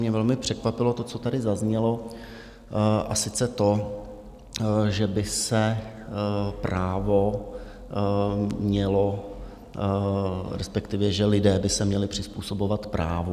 Mě velmi překvapilo to, co tady zaznělo, a sice to, že by se právo mělo, respektive že lidé by se měli přizpůsobovat právu.